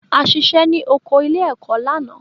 A ṣiṣẹ́ ní oko ilé-ẹ̀kọ́ lánàá.